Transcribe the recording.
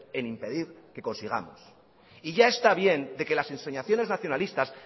en impedir que consigamos y ya está bien de que las ensoñaciones nacionalistas